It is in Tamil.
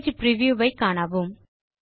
பேஜ் பிரிவ்யூ ஐ காணவும்